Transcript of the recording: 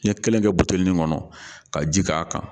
N ye kelen kɛ buteli min kɔnɔ ka ji k'a kan